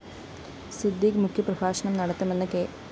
സിദ്ദിഖ് മുഖ്യപ്രഭാഷണം നടത്തുമെന്ന് കെ